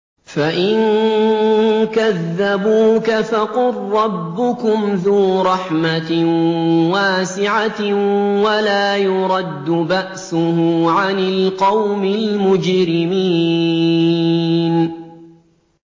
فَإِن كَذَّبُوكَ فَقُل رَّبُّكُمْ ذُو رَحْمَةٍ وَاسِعَةٍ وَلَا يُرَدُّ بَأْسُهُ عَنِ الْقَوْمِ الْمُجْرِمِينَ